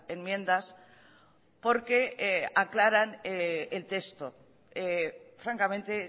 enmiendas porque aclaran el texto francamente